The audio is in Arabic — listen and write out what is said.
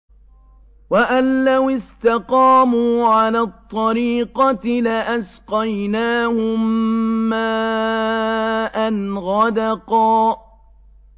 وَأَن لَّوِ اسْتَقَامُوا عَلَى الطَّرِيقَةِ لَأَسْقَيْنَاهُم مَّاءً غَدَقًا